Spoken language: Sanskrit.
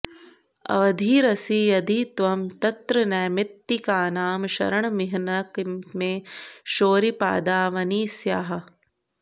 अवधिरसि यदि त्वं तत्र नैमित्तिकानां शरणमिह न किं मे शौरिपादावनि स्याः